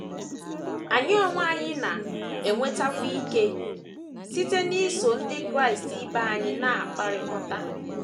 Anyị onwe anyị na - enwetakwa ike site n’iso ndị Kraịst ibe anyị na - akpakọrịta.